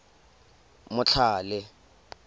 motlhale